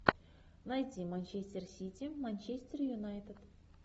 найти манчестер сити манчестер юнайтед